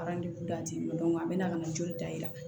a bɛna ka na joli da i la